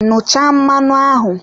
Nnụcha mmanụ ahụ!